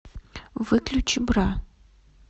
выключи бра